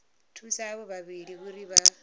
thusa avho vhavhili uri vha